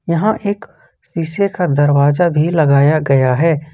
यहां एक शीशे का दरवाजा भी लगाया गया है।